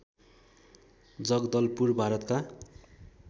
जगदलपुर भारतका